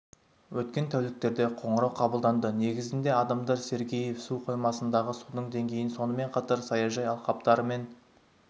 өткен тәуліктерде қоңырау қабылданды негізінде адамдар сергеев су қоймасындағы судың деңгейін сонымен қатар саяжай алқаптары мен